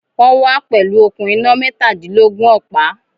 Wọ́n wá pẹ̀lú okùn iná mẹ́tādílógún ọ̀pá